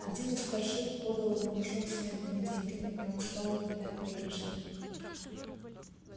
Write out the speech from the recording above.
один из старшин подал ему мешок с медными деньгами и он стал их метать пригоршнями